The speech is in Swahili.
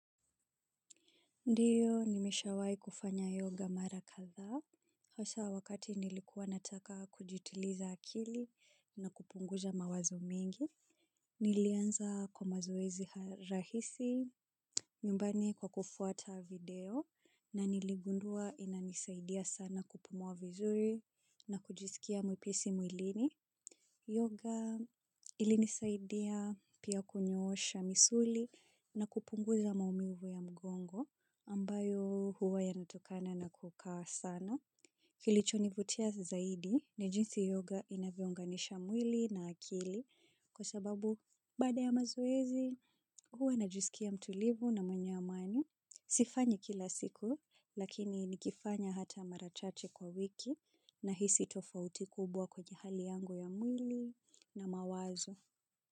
Ndio, nimesha wahi kufanya yoga marakadhaa, hasa wakati nilikuwa nataka kujituliza akili na kupunguza mawazo mengi, nilianza kwa mazoezi rahisi, nyumbani kwa kufuata video, na niligundua inanisaidia sana kupumua vizuri na kujisikia mwepesi mwilini. Yoga ilinisaidia pia kunyoosha misuli na kupunguza maumivu ya mgongo ambayo huwa yanatokana na kukaa sana. Kili chonivutia zaidi na jinsi yoga inavyounganisha mwili na akili kwa sababu baada ya mazoezi huwa najisikia mtulivu na mwenye amani. Sifanyi kila siku lakini nikifanya hata marachache kwa wiki na hisi tofauti kubwa kwenye hali yangu ya mwili na mawazo.